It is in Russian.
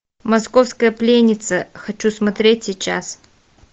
московская пленница хочу смотреть сейчас